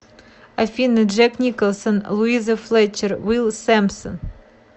афина джек николсон луиза флетчер уилл сэмпсон